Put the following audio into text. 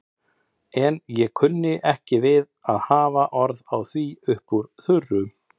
En ég kunni ekki við að hafa orð á því upp úr þurru.